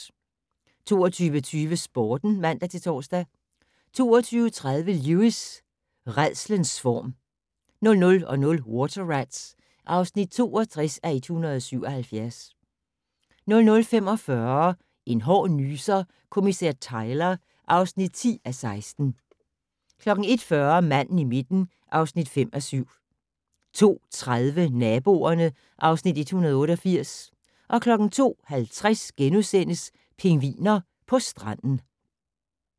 22:20: Sporten (man-tor) 22:30: Lewis: Rædslens form 00:00: Water Rats (62:177) 00:45: En hård nyser: Kommissær Tyler (10:16) 01:40: Manden i midten (5:7) 02:30: Naboerne (Afs. 188) 02:50: Pingviner på stranden *